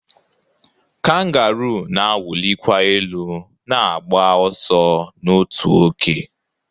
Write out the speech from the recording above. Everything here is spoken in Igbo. kangaroo na-awụlikwa elu na-agba ọsọ n'otu oge